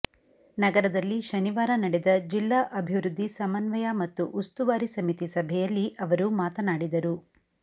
ನಗರದಲ್ಲಿ ಶನಿವಾರ ನಡೆದ ಜಿಲ್ಲಾ ಅಭಿವೃದ್ಧಿ ಸಮನ್ವಯ ಮತ್ತು ಉಸ್ತುವಾರಿ ಸಮಿತಿ ಸಭೆಯಲ್ಲಿ ಅವರು ಮಾತನಾಡಿದರು